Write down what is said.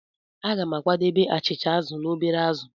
Aga m ga-akwadebe achịcha azụ̀ na obere azụ̀.